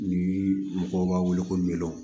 Ni mɔgɔw b'a wele ko miliyɔn